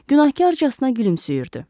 Günahkarcasına gülümsəyirdi.